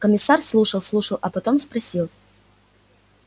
комиссар слушал слушал а потом спросил